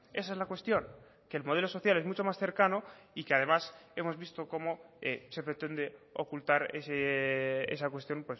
esa es la cuestión que el modelo social es mucho más cercano y que además hemos visto cómo se pretende ocultar esa cuestión